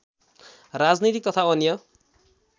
राजनीतिक तथा अन्य